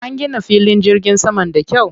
An gina filin jirgin saman da kyau.